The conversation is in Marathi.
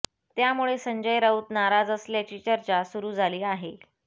त्यामुळे संजय राऊत नाराज असल्याची चर्चा सुरु झाली आहे